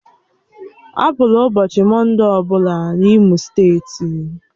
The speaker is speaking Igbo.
Apụla ụbọchị Mọnde ọbụla n'Imo steeti!